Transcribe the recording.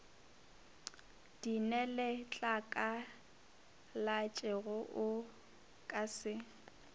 di neletlakalatšego o ka se